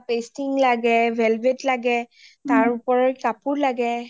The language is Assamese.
pasting লাগে, velvet লাগে তাৰ উপৰত কাপোৰ লাগে